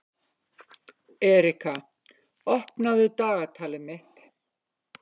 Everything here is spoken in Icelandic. Erika, opnaðu dagatalið mitt.